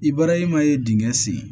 I bɔra i ma ye dingɛ sen